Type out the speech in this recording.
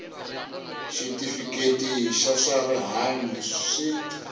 xitifiketi xa swa rihanyu swi